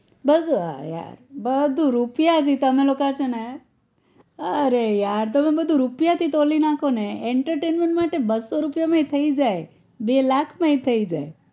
બસ જો આ બધું રૂપિયાથી તમે લોકા છે ને અરે yaar તમે રૂપિયા થી તોલી નાખો ને entertainment માટે બસો રૂપિયા માં થઇ જાય બે લાખ માં એ થઈ જાય